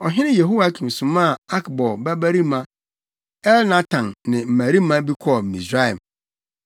Ɔhene Yehoiakim somaa Akbor babarima Elnatan ne mmarima bi kɔɔ Misraim.